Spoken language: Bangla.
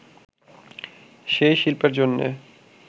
সেই শিল্পের জন্যে